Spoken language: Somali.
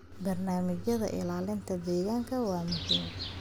Barnaamijyada ilaalinta deegaanka waa muhiim.